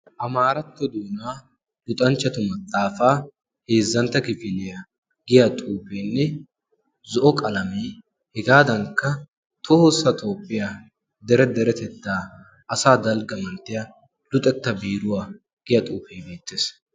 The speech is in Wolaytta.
amaaratto duunaa luxanchchatu maxaafaa heezzantta kifiiliyaa giya xuufeenne zo'o qalamee hegaadankka tohoossa tooppiyaa dere deretettaa asa dalgga inttiya luxetta biiruwaa giya xuufee neettees